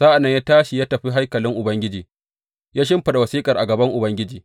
Sa’an nan ya tashi ya tafi haikalin Ubangiji ya shimfiɗa wasiƙar a gaban Ubangiji.